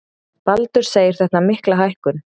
Baldur segir þetta mikla hækkun.